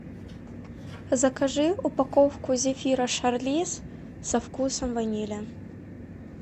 закажи упаковку зефира шарлиз со вкусом ванили